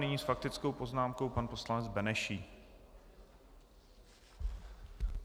Nyní s faktickou poznámkou pan poslanec Benešík.